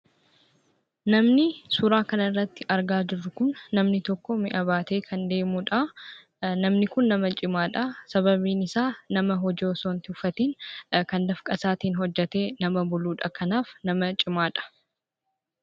Namni suuraa kanarratti argaa jirru kun namni tokko mi'a baatee kan deemuu dha. Namni kun nama cimaadha. Sababiin isaa, nama hojii osoo hin tuffatiin kan dafqa isaatiin hojjetee nama buluu dha. Kanaaf nama cimaadha.